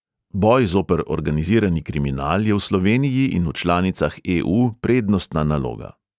Boj zoper organizirani kriminal je v sloveniji in v članicah e|u prednostna naloga.